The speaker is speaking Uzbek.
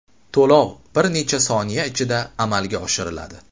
To‘lov bir necha soniya ichida amalga oshiriladi.